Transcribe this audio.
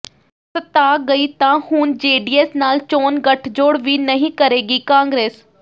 ਸੱਤਾ ਗਈ ਤਾਂ ਹੁਣ ਜੇਡੀਐੱਸ ਨਾਲ ਚੋਣ ਗਠਜੋੜ ਵੀ ਨਹੀਂ ਕਰੇਗੀ ਕਾਂਗਰਸ